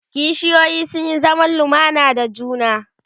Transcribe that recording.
kishiyoyi sun Yi zaman lumana da juna